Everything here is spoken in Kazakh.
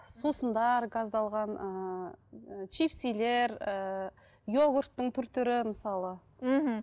сусындар газдалған ыыы чипсилер ііі йогурттың түр түрі мысалы мхм